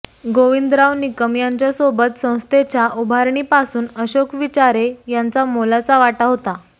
गोविंदराव निकम यांच्यासोबत संस्थेच्या उभारणीपासून अशोक विचारे यांचा मोलाचा वाटा होता